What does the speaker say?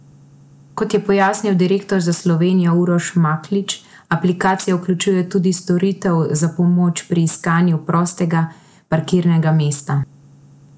Kot je pojasnil direktor za Slovenijo Uroš Maklič, aplikacija vključuje tudi storitev za pomoč pri iskanju prostega parkirnega mesta.